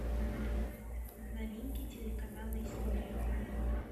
новинки телеканала история